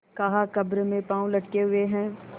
कहाकब्र में पाँव लटके हुए हैं